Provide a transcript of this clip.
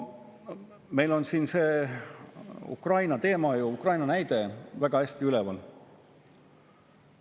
Meil on siin see Ukraina teema ja Ukraina näide väga selgelt üleval.